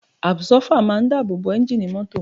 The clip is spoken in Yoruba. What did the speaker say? Àbsọ́fà máa ń dáàbò bo ẹ́ńjì mọ́tò